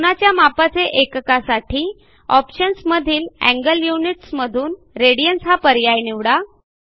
कोनाच्या मापाचे एककासाठी ऑप्शन्स मधील एंगल युनिट्स मधून रेडियन्स हा पर्याय निवडा